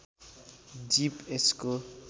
जीव यसको